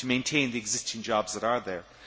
to maintain the existing jobs that are there.